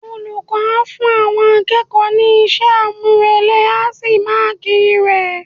Olùkọ́ a fún àwọn akẹ́kọ̀ọ́ ní iṣẹ́ àmúrelé á sì máàkì rẹ̀.